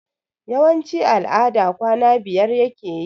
Yawanci al'ada kwana biyar yake yi